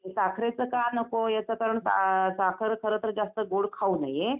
साखरेचं का नको? याच कारण साखर खरंतर जास्त असं गोड खाऊ नये.